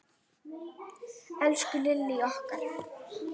Elsku Lillý okkar.